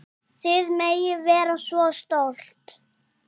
Þið megið vera svo stolt.